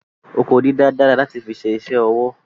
Oko dídá dára láti fi ṣe isẹ́ ọwọ́